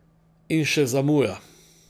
In še zamuja.